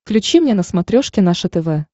включи мне на смотрешке наше тв